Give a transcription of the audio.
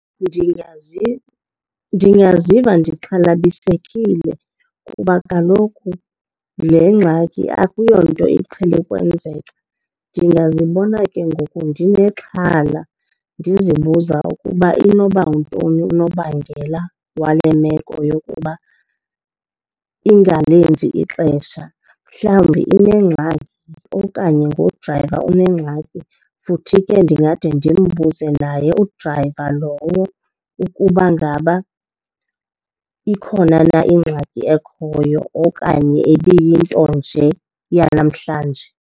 Ndingaziva ndixhalabisekile kuba kaloku le ngxaki akuyonto iqhele ukwenzeka. Ndingazibona ke ngoku ndinexhala ndizibuza ukuba inoba yintoni unobangela wale meko yokuba ingalenzi ixesha. Mhlawumbi inengxaki okanye nodrayiva unengxaki. Futhi ke ndingade ndimbuze naye udrayiva lo ukuba ngaba ikhona na ingxaki ekhoyo okanye ibiyinto nje yanamhlanje.